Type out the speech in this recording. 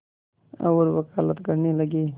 और वक़ालत करने लगे